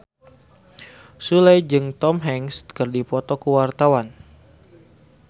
Sule jeung Tom Hanks keur dipoto ku wartawan